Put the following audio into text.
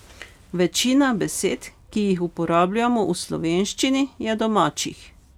Večina besed, ki jih uporabljamo v slovenščini, je domačih.